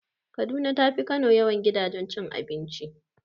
Kaduna tafi Kano yawan gidajen cin abinci.